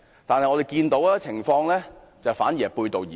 但是，我們看到的情況卻是背道而馳。